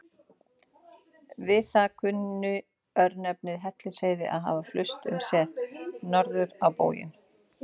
Við það kunni örnefnið Hellisheiði að hafa flust um set, norður á bóginn.